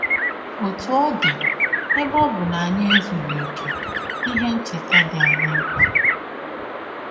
Ọtụ ọ dị, ebe ọ bụ na anyị ezughị ọkè, ihe ncheta dị anyị mkpa.